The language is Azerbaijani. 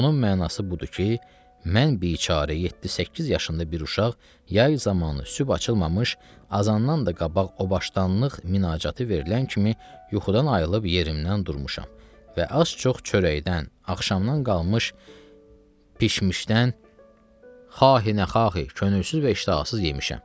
Bunun mənası budur ki, mən biçarə 7-8 yaşında bir uşaq yay zamanı sübh açılmamış azandan da qabaq o başdanlıq münacatatı verilən kimi yuxudan ayrılıb yerimdən durmuşam və az-çox çörəkdən, axşamdan qalmış bişmişdən xahinə xahi könülsüz və iştahasız yemişəm.